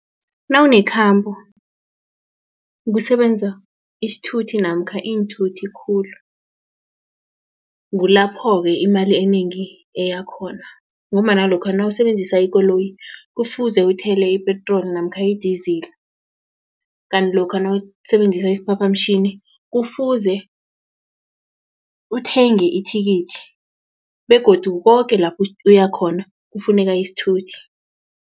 Nawunekhambo kusebenza isithuthi namkha iinthuthi khulu kulapho-ke imali enengi eya khona ngombana lokha nawusebenzisa ikoloyi kufuze uthele ipetroli namkha idizili kanti lokha nawusebenzisa isiphaphamtjhini kufuze uthenge ithikithi begodu koke lapha uyakhona kufuneka isithuthi.